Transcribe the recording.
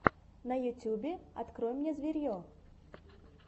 на ютюбе открой мне зверье